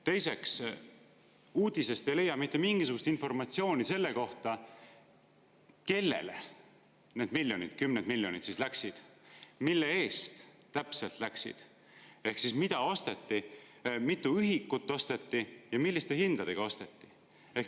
Teiseks, uudisest ei leia mitte mingisugust informatsiooni selle kohta, kellele need kümned miljonid läksid, mille eest täpselt läksid, ehk mida osteti, mitu ühikut osteti ja milliste hindadega osteti.